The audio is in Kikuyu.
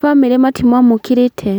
Bamĩrĩ matimwamũkĩrĩte